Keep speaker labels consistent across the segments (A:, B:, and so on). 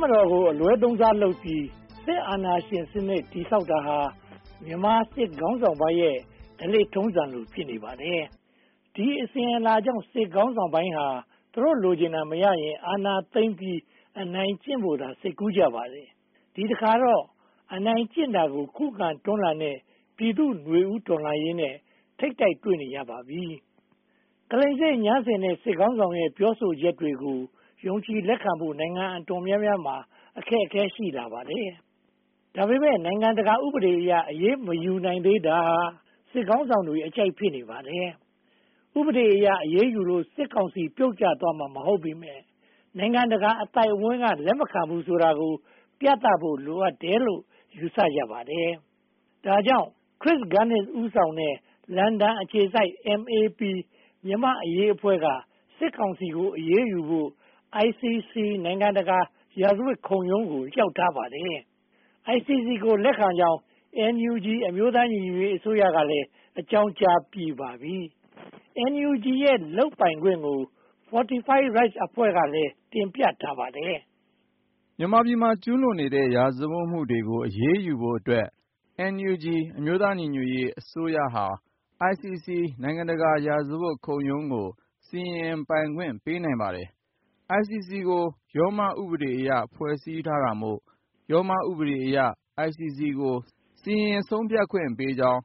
A: မတော်ကို အလွဲသုံးစားလုပ်ပြီး အာဏာရှင်စနစ် တည်ဆောက်တာဟာ မြန်မာစစ်ခေါင်းဆောင်ပိုင်းရဲ့ ဓလေ့ထုံးစံလို ဖြစ်နေပါတယ်။ ဒီအစဉ်အလာကြောင့် စစ်ခေါင်းဆောင်ပိုင်းဟာ သူတို့လိုချင်တာ မရရင် အာဏာသိမ်းပြီး အနိုင်ကျင့်ဖို့သာ စိတ်ကူးကြပါတယ်။ ဒီတခါမှာတော့ အနိုင်ကျင့်တာကို ခုခံတွန်းလှန်တဲ့ ပြည်သူ့နွေဦးတော်လှန်ရေးနဲ့ ထိပ်တိုက်တွေ့နေရပါပြီ။ ကလိမ်စေ့ငြမ်းဆင်တဲ့ စစ်ခေါင်းဆောင်ရဲ့ ပြောဆိုချက်တွေကို ယုံကြည်လက်ခံဖို့ နိုင်ငံအတော်များများမှာ အခက်အခဲ ရှိလာပါတယ်။ ဒါပေမဲ့ နိုင်ငံတကာဥပဒေအရ အရေးမယူနိုင်သေးတာဟာ စစ်ခေါင်းဆောင်တွေအကြိုက် ဖြစ်နေပါတယ်။ ဥပဒေအရ အရေးယူလို့ စစ်ကောင်စီပြုတ်ကျသွားမှာ မဟုတ်ပေမယ့် နိုင်ငံတကာအသိုက်အဝန်းက လက်မခံဘူးဆိုတာကို ပြသဖို့ လိုအပ်တယ်လို့ ယူဆကြပါတယ်။ ဒါကြောင့် Chris Gunness ဦးဆောင်တဲ့ လန်ဒန်အခြေစိုက် MAP မြန်မာ့အရေးအဖွဲ့က စစ်ကောင်စီကို အရေးယူဖို့၊ ICC နိုင်ငံတကာရာဇဝတ်ခုံရုံးကို လျှောက်ထားပါတယ်။ ICC ကို လက်ခံကြောင်း NUG အမျိုးသားညီညွှတ်ရေးအစိုးရက အကြောင်းကြားပြီးပါပြီ။ NUG ရဲ့ လုပ်ပိုင်ခွင့်ကို Fortify Rights အဖွဲ့ကလည်း တင်ပြထားပါတယ်
B: ။ မြန်မာပြည်မှာ ကျူးလွန်နေတဲ့ ရာဇဝတ်မှုတွေကို အရေးယူဖို့အတွက် NUG အမျိုးသားညီညွှတ်ရေးအစိုးရဟာ ICC နိုင်ငံတကာရာဇဝတ်ခုံရုံးကို စီရင်ပိုင်ခွင့် ပေးနိုင်ပါတယ်။ ICC ကို ရောမဥပဒေအရ ဖွဲ့စည်းထားတာမို့ ရောမဥပဒေအရ ICC ကို စီရင်ဆုံးဖြတ်ခွင့်ပေးကြောင်း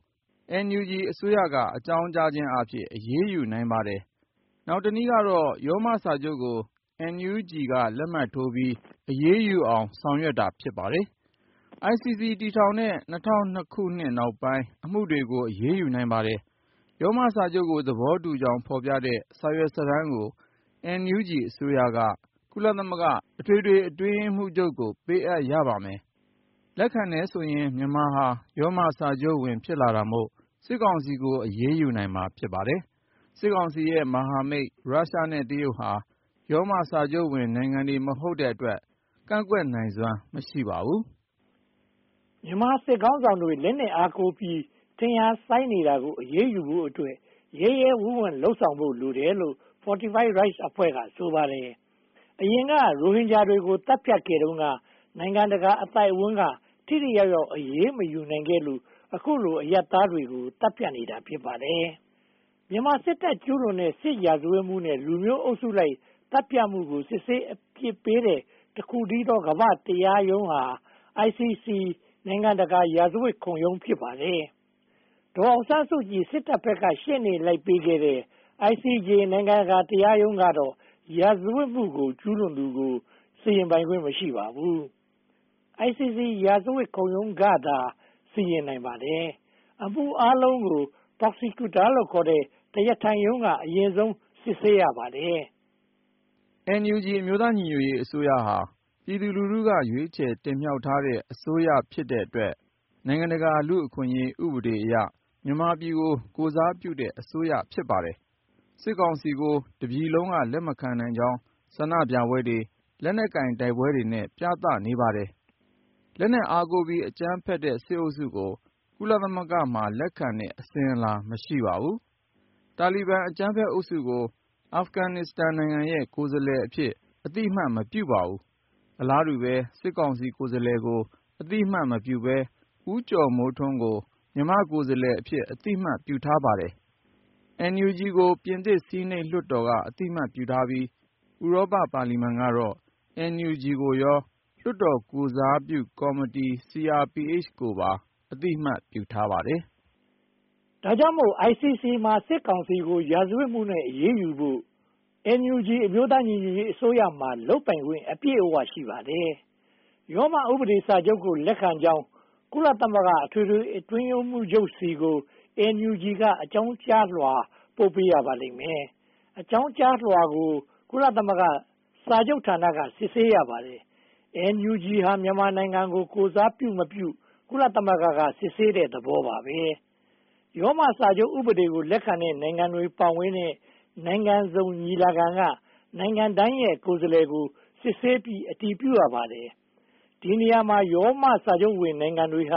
B: NUG အစိုးရက အကြောင်းကြားခြင်းအားဖြင့် အရေးယူနိုင်ပါတယ်။ နောက်တနည်းကတော့ ရောမစာချုပ်ကို NUG လက်မှတ်ရေးထားပြီး အရေးယူအောင် ဆောင်ရွက်တာ ဖြစ်ပါတယ်။ ICC တည်ထောင်တဲ့ ၂၀၀၂ နောက်ပိုင်းက အမှုတွေကို အရေးယူနိုင်ပါတယ်။ ရောမစာချုပ်ကို သဘောတူကြောင်း ဖော်ပြတဲ့ စာရွက်စာတမ်းကို NUG အစိုးရက ကုလသမဂ္ဂ အထွေထွေအတွင်းရေးမှူးချုပ်ကို ပေးအပ်ရပါတယ်။ မြန်မာဟာ ရောမစာချုပ်ဝင် ဖြစ်လာတာမို့ စစ်ကောင်စီကို အရေးယူနိုင်မှာ ဖြစ်ပါတယ်။ စစ်ကောင်စီရဲ့ မဟာမိတ်ရုရှားနဲ့ တရုတ်ဟာ ရောမစာချုပ်ဝင်နိုင်ငံတွေ မဟုတ်တဲ့အတွက် ကန့်ကွက်နိုင်စွမ်း မရှိပါဘူ
A: း။ မြန်မာစစ်ခေါင်းဆောင်တွေ လက်နက်အားကိုးပြီး ထင်ရာစိုင်းနေတာကို အရေးယူဖို့အတွက် ရဲရဲဝန့်ဝန့် လုပ်ဆောင်ဖို့ လိုတယ်လို့ Fortify Rights အဖွဲ့က ဆိုပါတယ်။ အရင်က ရိုဟင်ဂျာတွေကို သတ်ဖြတ်ခဲ့တုန်းက နိုင်ငံတကာအသိုက်အဝန်းက ထိထိရောက်ရောက် အရေးမယူနိုင်ခဲ့လို့ အခုလို အရပ်သားတွေ သတ်ဖြတ်နေတာ ဖြစ်ပါတယ်။ မြန်မာစစ်တပ် ကျူးလွန်နေတဲ့ စစ်ရာဇဝတ်မှုနဲ့ လူမျိုးအုပ်စုလိုက် သတ်ဖြတ်မှုကို စစ်ဆေးအပြစ်ပေးနိုင်တဲ့ တခုတည်းသော ကမ္ဘာ့တရားရုံးဟာ ICC နိုင်ငံတကာရာဇဝတ်ခုံရုံး ဖြစ်ပါတယ်။ ဒေါ်အောင်ဆန်းစုကြည် စစ်တပ်ဘက်က ရှေ့နေလက်ပေးခဲ့တဲ့ ICJ နိုင်ငံတကာတရားရုံးကတော့ ရာဇဝတ်မှု ကျူးလွန်သူကို စီရင်ပိုင်ခွင့် မရှိပါဘူး။ ICC ရာဇဝတ်ခုံရုံးကသာ စီရင်နိုင်ပါတယ်။ အမှုအားလုံးကို Prosecutor ခေါ် တရားထိုင်ရုံးက အရင်ဆုံးစစ်ဆေးပါတယ်
B: ။ NUG အမျိုးသားညီညွှတ်ရေးအစိုးရဟာ ပြည်သူလူထုက ရွေးကောက်တင်မြှောက်ထားတဲ့ အစိုးရဖြစ်တဲ့အတွက် နိုင်ငံတကာလူ့အခွင့်အရေး ဥပဒေအရ မြန်မာပြည်ကို ကိုယ်စားပြုတဲ့ အစိုးရ ဖြစ်ပါတယ်။ စစ်ကောင်စီကို တပြည်လုံးက လက်မခံနိုင်ကြောင်း ဆန္ဒပြပွဲတွေ၊ လက်နက်ကိုင်တိုက်ပွဲတွေနဲ့ ပြသနေပါတယ်။ လက်နက်အားကိုးပြီး အကြမ်းဖက်တဲ့ စစ်အုပ်စုကို ကုလသမဂ္ဂမှာ လက်ခံတဲ့ အစဉ်အလာ မရှိပါဘူး။ တာလီဘန်အကြမ်းဖက်အုပ်စုကို အာဖဂန်နစ္စတန်နိုင်ငံရဲ့ ကိုယ်စားလှယ်အဖြစ် အသိအမှတ် မပြုပါဘူး။ အလားတူပဲ စစ်ကောင်စီကိုယ်စားလှယ်ကို အသိအမှတ်မပြုဘဲ၊ ဦးကျော်မိုးထွန်းကို မြန်မာ့ကိုယ်စားလှယ်အဖြစ် အသိအမှတ်ပြုထားပါတယ်။ NUG ကို ပြင်သစ်ဆီနိတ်လွှတ်တော်က အသိအမှတ်ပြုပြီး ဥရောပပါလီမန်ကတော့ NUG ကိုရော လွှတ်တော်ကိုယ်စားပြုကော်မတီကိုရော အသိအမှတ်ပြုပါတ
A: ယ်။ ဒါကြောင့်မို့ ICC မှာ စစ်ကောင်စီကို ရာဇဝတ်မှုနဲ့ အရေးယူဖို့ NUG အမျိုးသားညီညွှတ်ရေးအစိုးရမှာ လုပ်ပိုင်ခွင့် အပြည့်အဝ ရှိပါတယ်။ ရောမဥပဒေစာချုပ်ကို လက်ခံကြောင်း ကုလသမဂ္ဂ အထွေထွေအတွင်းရေးမှူးချုပ်ဆီကို NUG က အကြောင်းကြားလွှာ ပို့ပေးရပါလိမ့်မယ်။ အကြောင်းကြားလွှာကို ကုလသမဂ္ဂစာချုပ်ဌာနက စစ်ဆေးရပါတယ်။ NUG ဟာ မြန်မာနိုင်ငံကို ကိုယ်စားပြုမပြု ကုလသမဂ္ဂက စစ်ဆေးတဲ့သဘောပါပဲ။ ရောမစာချုပ်ဥပဒေကို လက်ခံတဲ့ နိုင်ငံတွေပါဝင်တဲ့ နိုင်ငံစုံညီလာခံက နိုင်ငံတိုင်းရဲ့ ကိုယ်စားလှယ်တွေကို စစ်ဆေးပြီး အတည်ပြုရပါတယ်။ ဒီနေရာမှာ ရောမစာချုပ်ဝင်နိုင်ငံတွေက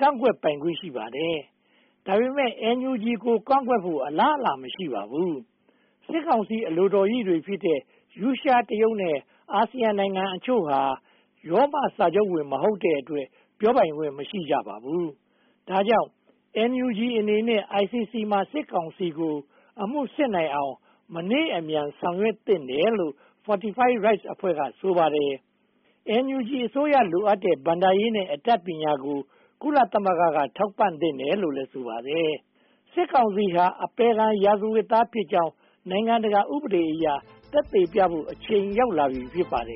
A: ကန့်ကွက်ပိုင်ခွင့် ရှိပါတယ်။ ဒါပေမဲ့ NUG ကို ကန့်ကွက်ဖို့ အလားအလာ မရှိပါဘူး။ စစ်ကောင်စီ အလိုတော်ရိတွေဖြစ်တဲ့ ရုရှား၊ တရုတ်နဲ့ အာဆီယံနိုင်ငံအချို့ဟာ ရောမစာချုပ်ဝင်နိုင်ငံတွေ မဟုတ်တဲ့အတွက် ပြောပိုင်ခွင့် မရှိကြပါဘူး။ ဒါကြောင့်မို့ NUG အနေနဲ့ ICC မှာ စစ်ကောင်စီကို အမှုစစ်နိုင်အောင် မနှေးအမြန် ဆောင်ရွက်သင့်တယ်လို့ Fortify Rights အဖွဲ့က ဆိုပါတယ်။ NUG အစိုးရ လိုအပ်တဲ့ ဘဏ္ဍာရေးနဲ့ အတတ်ပညာကို ကုလသမဂ္ဂက ထောက်ပံ့သင့်တယ်လို့လည်း ဆိုပါတယ်။ စစ်ကောင်စီဟာ အပယ်ခံရာဇဝတ်သားဖြစ်ကြောင်း နိုင်ငံတကာဥပဒေအရ သက်သေပြဖို့ အချိန်ရောက်လာပြီ ဖြစ်ပါတယ်